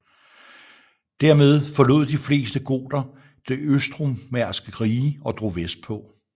Dermed forlod de fleste goter det østromerske rige og drog vestpå